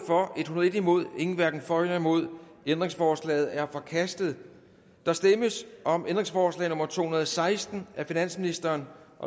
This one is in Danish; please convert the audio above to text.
imod en hverken for eller imod stemte ændringsforslaget er forkastet der stemmes om ændringsforslag nummer to hundrede og seksten af finansministeren